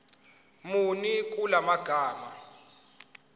muni kula magama